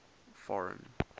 foreign